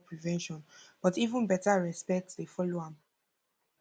i been learn say partner communication no be only about prevention but even beta respect dey follow um am